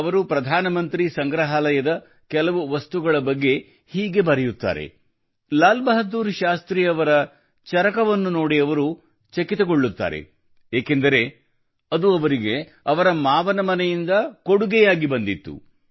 ಅವರು ಪ್ರಧಾನಮಂತ್ರಿ ಸಂಗ್ರಹಾಲಯದ ಕೆಲವು ವಸ್ತುಗಳ ಬಗ್ಗೆ ಹೀಗೆ ಬರೆಯುತ್ತಾರೆ ಲಾಲ್ ಬಹದ್ದೂರ್ ಶಾಸ್ತ್ರಿಯವರ ಚರಕವನ್ನು ನೋಡಿ ಅವರು ಚಕಿತಗೊಂಡರು ಏಕೆಂದರೆ ಅದು ಅವರಿಗೆ ಅವರ ಮಾವನ ಮನೆಯಿಂದ ಕೊಡುಗೆಯಾಗಿ ಬಂದಿತ್ತು